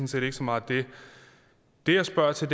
set ikke så meget det det jeg spørger til